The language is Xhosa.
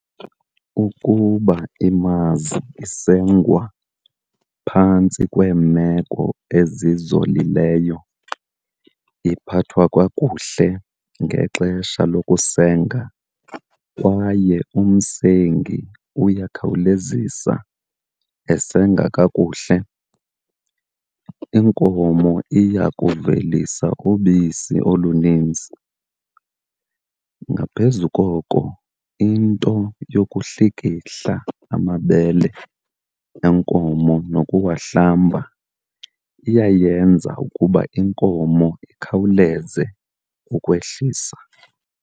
Ukuba imazi isengwa phantsi kweemeko ezizolileyo, iphathwa kakuhle ngexesha lokusenga kwaye umsengi uyakhawulezisa esenga kakuhle, inkomo iya kuvelisa ubisi oluninzi. Ngaphezu koko into yokuhlikihla amabele enkomo nokuwahlamba iyayenza ukuba inkomo ikhawuleze ukwehlisa.